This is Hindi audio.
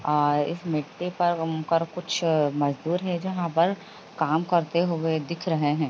आ इस मिट्टी पर कर अम कुछ मजदूर हैं जहाँ पर काम करते हुए दिख रहे हैं।